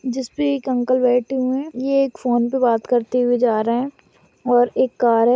जिस भी एक अंकल बैठे हुए है। ये एक फ़ोन पे बात करते जा रहा है और एक कार है।